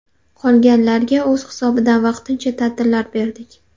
Qolganlarga o‘z hisobidan vaqtincha ta’tillar berdik.